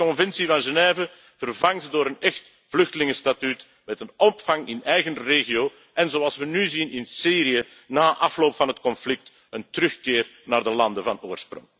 Stop die Conventie van Genève, vervang ze door een echt vluchtelingenstatuut met een opvang in eigen regio, en, zoals we nu zien in Syrië, na afloop van het conflict een terugkeer naar de landen van oorsprong.